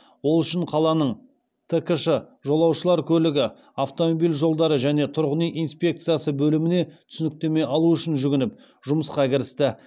ол үшін қаланың ткш жолаушылар көлігі автомобиль жолдары және тұрғын үй инспекциясы бөліміне түсініктеме алу үшін жүгініп жұмысқа кірісті